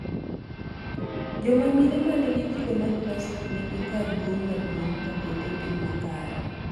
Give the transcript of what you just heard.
Joma mine manigi kido ma classic nigi kar duong' maduong' ka bende gin makare